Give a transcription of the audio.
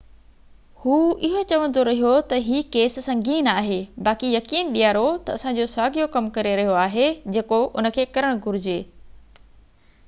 هو اهو چوندو رهيو ته هي ڪيس سنگين آهي باقي يقين ڏياريو ته اسان جو ساڳيو ڪم ڪري رهيو آهي جيڪو ان کي ڪرڻ گهجي